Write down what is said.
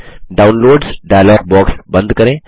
downloads dialog box बंद करें